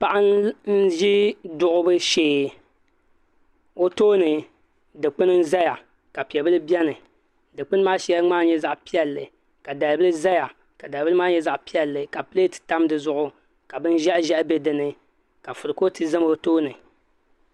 Paɣa n-ʒi duɣibu shee o tooni dikpuni n-zaya ka piɛ' bila beni dikpuni maa shɛli ŋmaami nyɛ zaɣ' piɛlli ka dalibila zaya ka dalibila maa nyɛ zaɣ' piɛlli ka pileeti tam di zuɣu ka bin' ʒɛhiʒɛhi be di ni ka kurufootu za o tooni